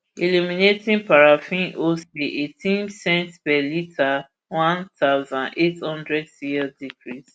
illuminating paraffin wholesale eighteen cents per litre one thousand, eight hundred cl decrease